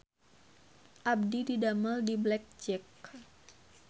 Abdi didamel di Black Jack